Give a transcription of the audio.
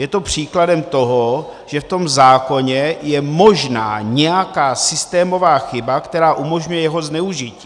Je to příkladem toho, že v tom zákoně je možná nějaká systémová chyba, která umožňuje jeho zneužití.